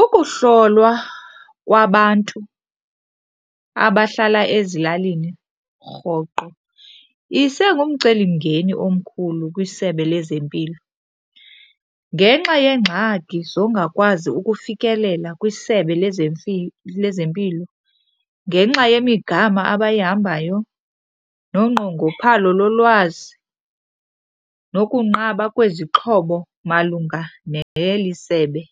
Ukuhlolwa kwabantu abahlala ezilalini rhoqo isengumcelimngeni omkhulu kwiSebe lezeMpilo ngenxa yeengxaki zongakwazi ukufikelela kwiSebe lezeMpilo. Ngenxa yemigama abayihambayo nonqongophalo lolwazi, nokunqaba kwezixhobo malunga neli sebe,